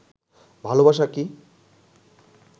ভালবাসা কি?